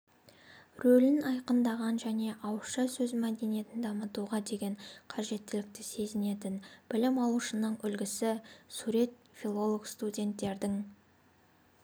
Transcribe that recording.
рөлін айқындаған және ауызша сөз мәдениетін дамытуға деген қажеттілікті сезінетін білім алушының үлгісі сурет филолог-студенттердің